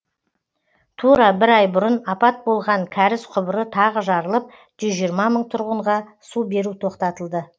тура бір ай бұрын апат болған кәріз құбыры тағы жарылып жүз жиырма мың тұрғынға су беру тоқтатылды